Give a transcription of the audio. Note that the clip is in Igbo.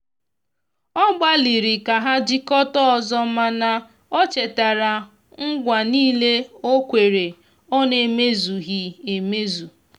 ọ gbaliri ka ha jikota ọzọmana o chetara ngwa nile okwere ọ na eme zughi emezụ